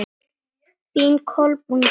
Þín Kolbrún Dögg.